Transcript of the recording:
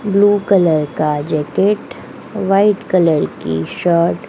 blue colour का jacket white colour की shirt --